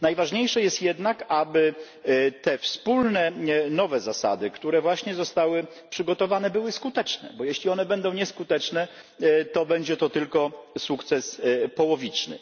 Najważniejsze jest jednak, aby te wspólne nowe zasady, które właśnie zostały przygotowane, były skuteczne, bo jeśli one będą nieskuteczne, to będzie to tylko sukces połowiczny.